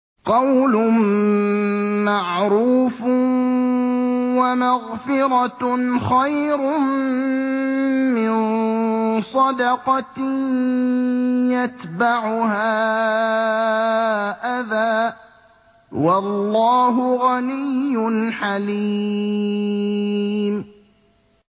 ۞ قَوْلٌ مَّعْرُوفٌ وَمَغْفِرَةٌ خَيْرٌ مِّن صَدَقَةٍ يَتْبَعُهَا أَذًى ۗ وَاللَّهُ غَنِيٌّ حَلِيمٌ